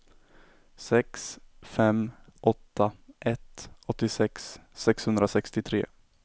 sex fem åtta ett åttiosex sexhundrasextiotre